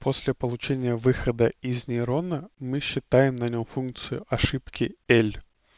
после получения выхода из нерйона мы считаем на нем функцию ошибки л